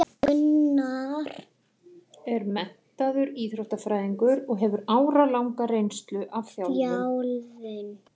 Gunnar er menntaður íþróttafræðingur og hefur áralanga reynslu af þjálfun.